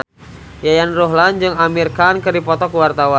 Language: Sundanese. Yayan Ruhlan jeung Amir Khan keur dipoto ku wartawan